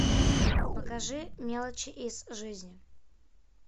покажи мелочи из жизни